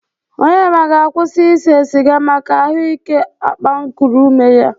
Onyema ga-akwụsị isee sịga maka ahụ ike akpankuru ume ya.